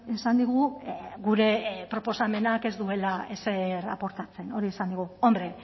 esan digu gure proposamenak ez duela ezer aportatzen hori esan digu hombre